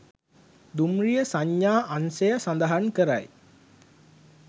දුම්රිය සංඥා අංශය සඳහන් කරයි